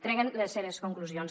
treguen les seves conclusions